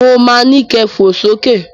Mo ma ni kẹ fò sókè